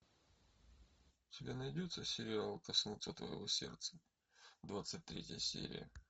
у тебя найдется сериал коснуться твоего сердца двадцать третья серия